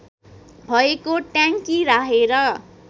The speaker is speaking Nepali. भएको ट्याङ्की राखेर